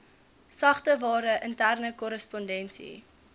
sagteware interne korrespondensie